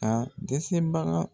A dɛsɛbaga